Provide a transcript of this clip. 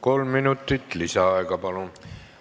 Kolm minutit lisaaega, palun!